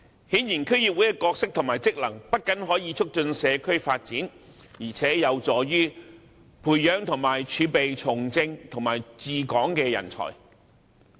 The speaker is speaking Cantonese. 顯然，區議會的角色及職能不僅可以促進社區發展，而且有助於培養和儲備從政和治港的人才。